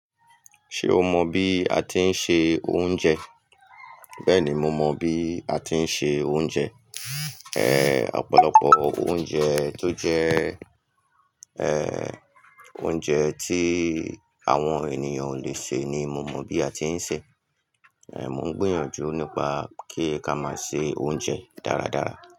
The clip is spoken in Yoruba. Ṣé o mọ bí a tí ń se oúnjẹ? Bẹ́ẹ̀ni, mo mọ bí a tí ń se oúnjẹ. Ọ̀pọ̀lọpọ̀ oúnjẹ tó jẹ́, oúnjẹ tí àwọn ènìyàn ò lè ṣe ni mo mọ bí a tí ń se. Mo ń gbìyànjú nípa kí n ká máa se oúnjẹ dáradára.